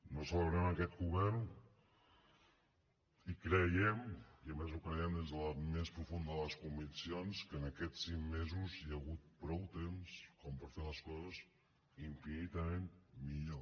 no celebrem aquest govern i creiem i a més ho creiem des de la més profunda de les conviccions que en aquests cinc mesos hi ha hagut prou temps com per fer les coses infinitament millor